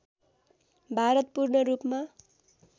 भारत पूर्ण रूपमा